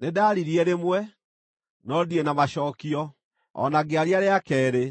Nĩndaririe rĩmwe, no ndirĩ na macookio; o na ngĩaria rĩa keerĩ,